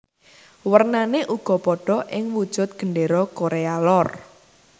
Wernané uga padha ing wujud Gendéra Korea Lor